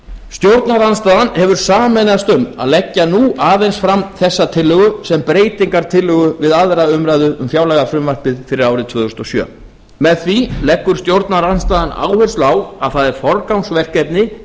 stjórnarandstaðan hefur sameinast um að leggja nú aðeins fram þessa tillögu sem breytingartillögu við aðra umræðu um fjárlagafrumvarpið fyrir árið tvö þúsund og sjö með því leggur stjórnarandstaðan áherslu á að það er forgangsverkefni í